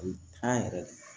yɛrɛ